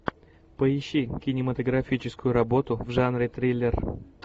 поищи кинематографическую работу в жанре триллер